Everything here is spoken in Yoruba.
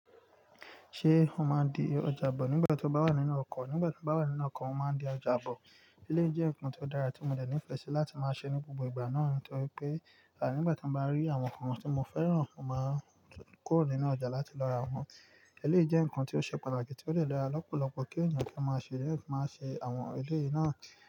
Ṣé o máa di ọjà bọ̀ nígbà tí o bá wà nínú ọkọ̀? Nígbà tí m bá wà nínú ọkọ̀, mo máa di ọjà bọ̀. Eléyìí jẹ́ nǹkan tó dára tí mo dẹ̀ nífẹ̀ẹ́ sí láti máa ṣe ní gbogbo ìgbà náà torí pé àní nígbà tí mo bá rí àwọn nnkan tí mo fẹ́ràn, mo máa kúrò nínú ọjà láti lọ ra wọn. Eléyìí jẹ́ ǹkan tó ṣe pàtàkì tí ó dè lọra lọ́pọ̀lọpọ̀ kí ènìyàn kí ó máa ṣe, kí ó tó máa ṣe àwọn eléyìí náà.